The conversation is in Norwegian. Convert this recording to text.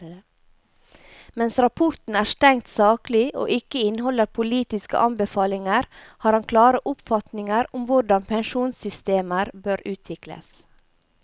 Mens rapporten er strengt saklig og ikke inneholder politiske anbefalinger, har han klare oppfatninger om hvordan pensjonssystemer bør utvikles.